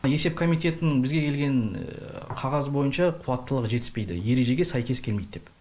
есеп комитетінің бізге келген қағазы бойынша қуаттылығы жетіспейді ережеге сәйкес келмейді деп